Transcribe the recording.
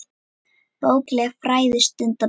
Bókleg fræði stunda menn.